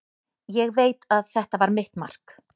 Ég veit að þetta var mitt mark.